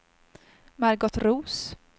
Margot Roos